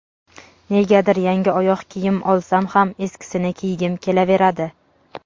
Negadir yangi oyoq kiyim olsam ham eskisini kiygim kelaveradi.